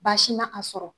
Baasi ma a sɔrɔ